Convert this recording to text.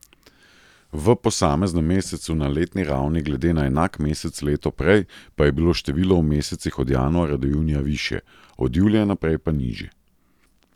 V posameznem mesecu na letni ravni, glede na enak mesec leto prej, pa je bilo število v mesecih od januarja do junija višje, od julija naprej pa nižje.